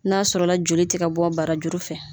N'a sɔrɔla joli tɛ ka bɔ bara juru fɛ.